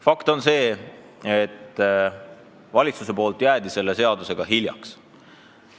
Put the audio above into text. Fakt on see, et valitsus jäi selle seadusega hiljaks.